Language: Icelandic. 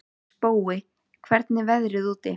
Spói, hvernig er veðrið úti?